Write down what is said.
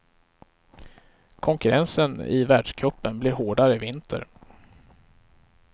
Konkurrensen i världscupen blir hårdare i vinter.